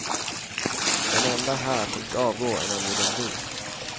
Den enda här som ska avgå är nämligen du.